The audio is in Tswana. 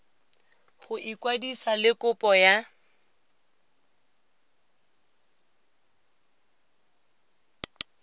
go ikwadisa le kopo ya